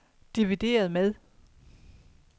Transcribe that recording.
divideret med